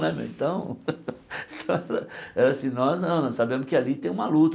Né então nós não sabemos que ali tem uma luta.